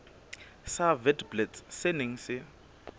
sa witblits se neng se